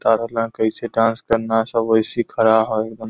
बता रहले हई कैसे डांस करना सब वैसे खड़ा है एकदम।